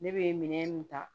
Ne bɛ minɛn mun ta